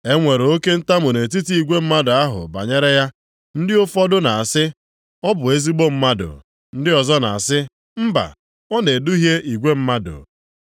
E nwere oke ntamu nʼetiti igwe mmadụ ahụ banyere ya. Ndị ụfọdụ na-asị, “Ọ bụ ezigbo mmadụ.” Ndị ọzọ na-asị, “Mba, ọ na-eduhie igwe mmadụ.”